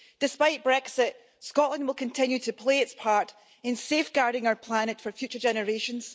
Despite Brexit, Scotland will continue to play its part in safeguarding our planet for future generations.